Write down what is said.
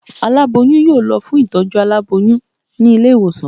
Alaboyun yóò lo fún itojú àláboyún ni ilé iwosàn